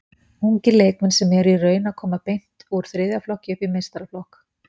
Ungir leikmenn sem eru í raun að koma beint úr þriðja flokki upp í meistaraflokk.